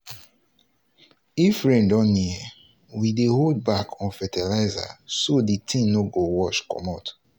if rain don near we dey hold back on fertilizer so the thing no go wash comot.